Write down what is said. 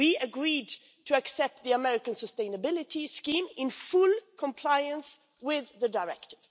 We agreed to accept the American sustainability scheme in full compliance with the directive.